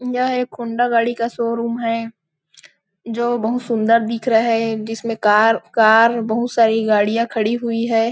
यह एक होंडा गाड़ी का शोरूम हैं जो बहुत सुंन्दर दिख रहे है जिसमे कार कार बहुत सारी गाड़ियाँ खड़ी हुई हैं।